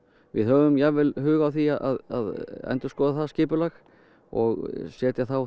við höfum jafnvel hug á því að endurskoða það skipulag og setja þá